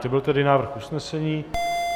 To byl tedy návrh usnesení.